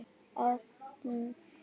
Eyddum nánast öllum stundum saman.